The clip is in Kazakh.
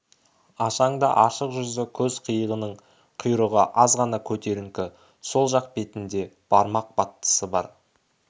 ашаң да ашық жүзді көз қиығының құйрығы аз ғана көтеріңкі сол жақ бетінде бармақ баттысы бар